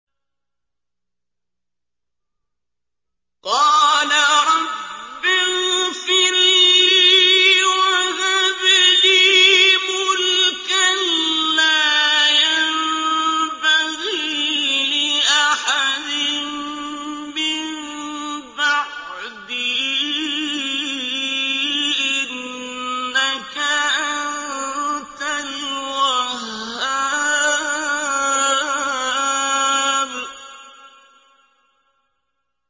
قَالَ رَبِّ اغْفِرْ لِي وَهَبْ لِي مُلْكًا لَّا يَنبَغِي لِأَحَدٍ مِّن بَعْدِي ۖ إِنَّكَ أَنتَ الْوَهَّابُ